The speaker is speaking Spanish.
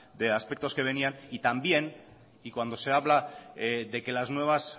de aspectos que venían y también y cuando se habla de que las nuevas